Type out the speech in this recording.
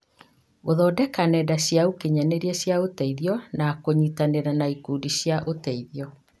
Gũthondeka nenda cia ũkinyanĩria cia ũteithio na kũnyitanĩra na ikundi cia ũteithio